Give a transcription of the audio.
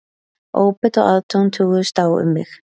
Óbeit og aðdáun toguðust á um mig